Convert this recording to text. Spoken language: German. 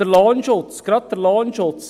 Enthalten ist gerade auch der Lohnschutz.